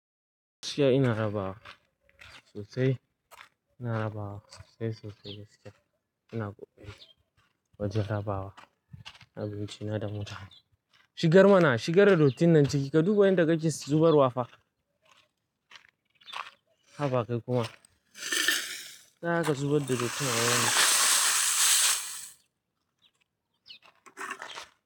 Gaskiya ina raba wa sosai. Ina raba wa sosai, sosai gaskiya. Ina ƙoƙari wajen raba wa abinci na da mota. Shigar mana, shigar dottin nan ciki ka dubo yadda kake zubar wa fa. Haba kai kuma, za ka zubar da dottin nan yau ne.